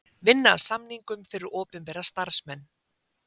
Vinna að samningum fyrir opinbera starfsmenn